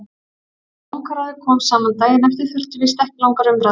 Þegar Bankaráðið kom saman daginn eftir þurfti víst ekki langar umræður.